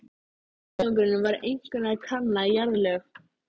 Tilgangurinn var einkum að kanna jarðlög.